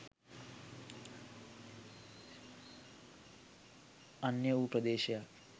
අන්‍ය වූ ප්‍රදේශයෙක්